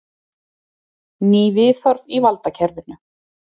Ný viðhorf í valdakerfinu